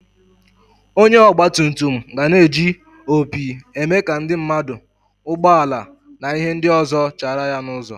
Onye ogba tum tum gana eji opi eme ka ndi mmadu, ụgbo ala na ihe ndi ọzọ chara ya n'ụzo.